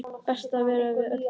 Best að vera við öllu búinn!